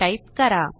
type करा